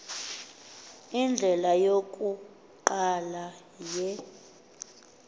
indlela yokuqala ye